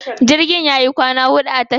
Jirgin yayi kwana huɗu a tashar.